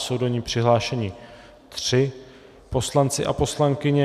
Jsou do ní přihlášeni tři poslanci a poslankyně.